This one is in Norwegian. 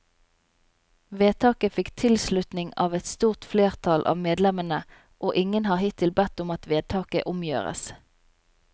Vedtaket fikk tilslutning av et stort flertall av medlemmene, og ingen har hittil bedt om at vedtaket omgjøres.